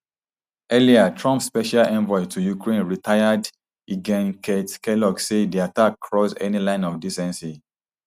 earlier trump special envoy to ukraine retired ltgen keith kellogg say di attack cross any line of decency